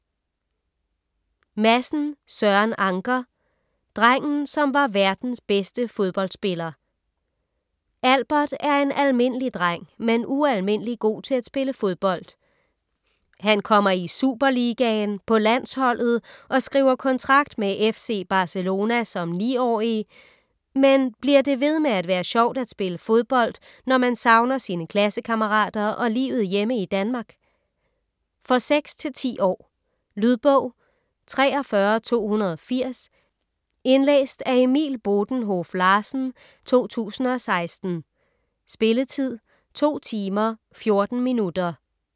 Madsen, Søren Anker: Drengen som var verdens bedste fodboldspiller Albert er en almindelig dreng, men ualmindelig god til at spille fodbold. Han kommer i superligaen, på landsholdet og skriver kontrakt med FC Barcelona som 9-årig, men det bliver ved med at være sjovt at spille fodbold, når man savner sine klassekammerater og livet hjemme i Danmark? For 6-10 år. Lydbog 43280 Indlæst af Emil Bodenhoff-Larsen, 2016. Spilletid: 2 timer, 14 minutter.